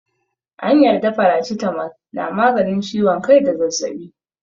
An yarda faracitamol na maganin ciwon kai da zazzaɓi.